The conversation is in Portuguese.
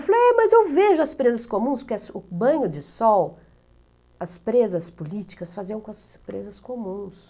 Eu falei, mas eu vejo as presas comuns, porque o banho de sol, as presas políticas faziam com as presas comuns.